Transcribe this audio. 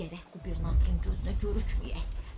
Gərək qubernatorun gözünə görükməyək.